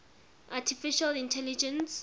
artificial intelligence